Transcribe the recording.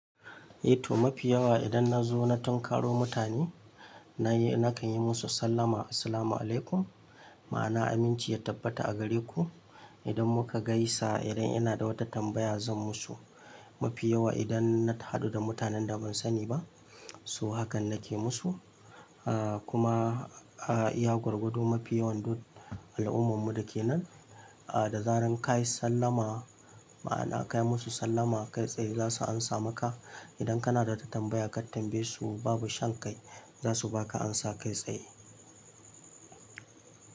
Eh to mafi yawa idan na zo na tunkaro mutane, na yi-- na kan yi musu sallama "Assalamualaikum", ma'ana aminci ya tabbata a gare ku. Idan muka gaisa, idan ina da wata tambaya zan musu. Mafi yawa idan na ta hadu da mutanen da ban sani ba, so hakan nake musu, ah kuma ah iya gwagwado mafi yawan duk al'ummar mu da ke nan. Ah da zaran ka yi sallama, ma'ana ka yi musu sallama kai tsaye za su amsa maka. Idan kana da wata tambaya ka tambaye su babu shan kai, za su ba ka ansa kai tsaye.